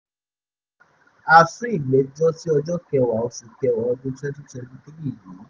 ó sún ìgbẹ́jọ́ sí ọjọ́ kẹwàá oṣù kẹwàá ọdún twenty twenty three yìí